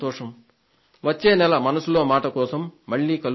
వచ్చే నెల మనసులో మాట కోసం మళ్లీ కలుద్దాం